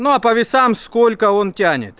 ну а по весам сколько он тянет